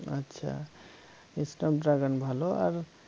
আচ্ছা snap dragon ভালো আর